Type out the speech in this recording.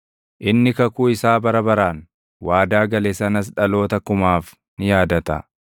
Inni kakuu isaa bara baraan, waadaa gale sanas dhaloota kumaaf ni yaadata;